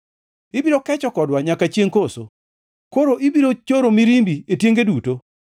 Ibiro kecho kodwa nyaka chiengʼ koso? Koso ibiro choro mirimbi e tienge duto?